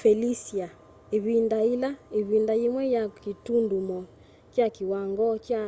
felicia ivinda ila ivinda yimwe yai kitundumo kya kiwangoo kya